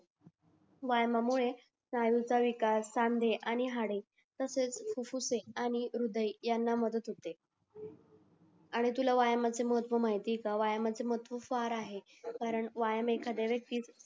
व्यायामा मुळे सायंकाळी काल सांधे आणि हाडे तसेच फुफुसे आणि हृदय यांना मदत होते आणि तुला व्यायामाचे महत्तव म्हायती आहे का व्यायामाचे महत्व फार आहे कारण व्यायाम एखादंयावक्तीस